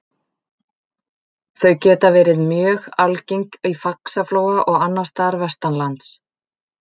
Þau geta verið mjög algeng í Faxaflóa og annars staðar vestanlands.